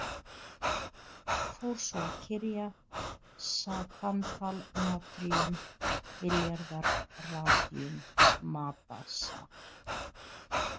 Fór svo að kyrja: Sa tantal natríum milljarðar radíum Ma Da Sa.